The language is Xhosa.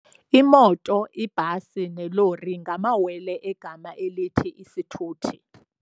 Imoto, ibhasi nelori ngamawele egama elithi isithuthi.